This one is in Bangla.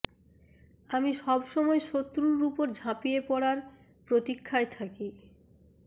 আমি সব সময় শত্রুর উপর ঝাঁপিয়ে পড়ার প্রতীক্ষায় থাকি